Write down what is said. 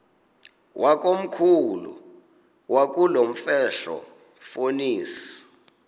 wakomkhulu wakulomfetlho fonis